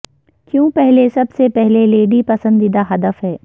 کیوں پہلے سب سے پہلے لیڈی پسندیدہ ہدف ہے